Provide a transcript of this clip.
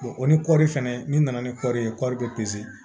o ni kɔɔri fɛnɛ ni nana ni kɔɔri ye kɔɔri bɛ peze